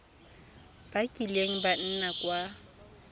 ba kileng ba nna kwa